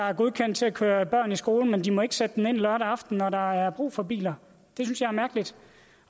er godkendt til at køre børn i skole men de må ikke sætte den ind lørdag aften når der er brug for biler det synes jeg er mærkeligt